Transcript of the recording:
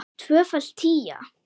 Tvöföld tía.